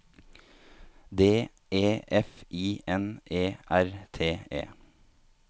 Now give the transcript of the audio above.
D E F I N E R T E